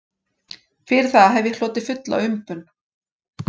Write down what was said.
Fyrir það hef ég hlotið fulla umbun